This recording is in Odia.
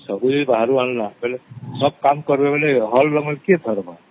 ସବୁ ଯଦି ବାହାରୁ ଆନାମା ତାହେଲେ ହଳ ଲଙ୍ଗଳ କିଏ ଧରମା ?